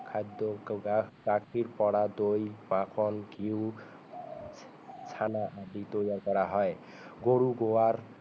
খাদ্য গাখীৰ পৰা দৈ মাখন ঘিউ চানা আদি তৈয়াৰ কৰা হয় গৰুৰ গোবৰ